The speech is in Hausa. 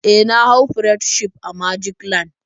E, na hau pirate ship a magic land.